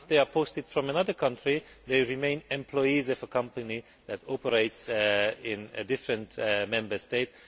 posted from another country who remain employees of a company that operates in a different Member State.